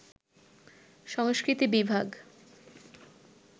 সংস্কৃতি বিভাগ